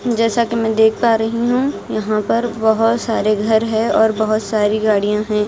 जैसा कि मैं देख पा रही हूं यहाँ पर बहुत सारे घर है और बहुत सारी गाड़ियां हैं।